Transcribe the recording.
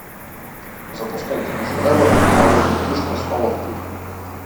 запускай киношедевр паровозик тишка снова в путь